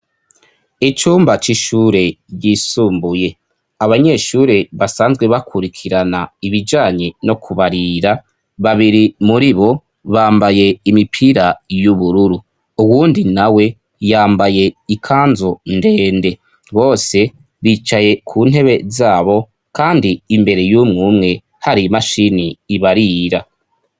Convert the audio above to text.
icumba c'ishure yisumbuye abanyeshure basanzwe bakurikirana ibijanye no kubarira babiri muri bo bambaye imipira y'ubururu uwundi nawe yambaye ikanzu ndende bose bicaye ku ntebe zabo kandi imbere y'umwumwe hari imashini ibarira